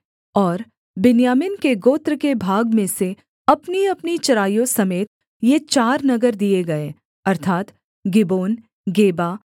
और बिन्यामीन के गोत्र के भाग में से अपनीअपनी चराइयों समेत ये चार नगर दिए गए अर्थात् गिबोन गेबा